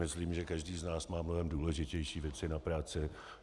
Myslím, že každý z nás má mnohem důležitější věci na práci.